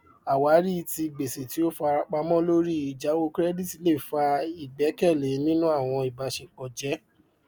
àwárí ti gbèsè tí ó farapamọ lórí ìjáwọ kirẹdítì lè fà ìgbàkẹlé nínú àwọn ìbáṣepọ jẹ